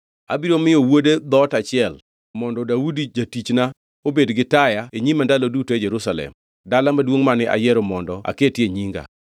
Abiro miyo wuode dhoot achiel mondo Daudi jatichna obed gi taya e nyima ndalo duto e Jerusalem, dala maduongʼ mane ayiero mondo aketie Nyinga.